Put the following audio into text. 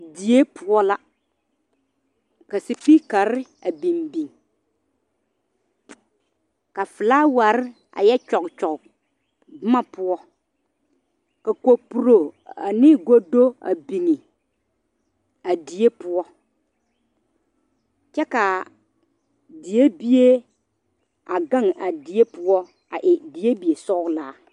die poɔ la ka sepiikara a bing bing ka flaaware a yɔ kyɔge kyɔge boma poɔ ka kapuro ane godo a bing a die poɔ kyɛ ka die bie a gang a die poɔ a e die bi sɔglaa